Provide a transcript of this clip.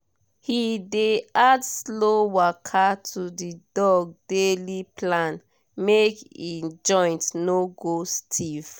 he dey add slow waka to the dog daily plan make e joint no go stiff